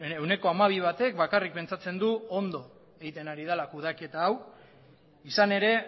ehuneko hamabi batek bakarrik pentsatzen du ondo egiten ari dela kudeaketa hau izan ere